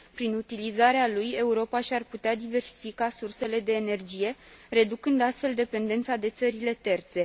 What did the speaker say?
Prin utilizarea lui, Europa și ar putea diversifica sursele de energie, reducând, astfel, dependența de țările terțe.